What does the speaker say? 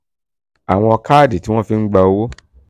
àwọn káàdì tí wọ́n fi ń gba owó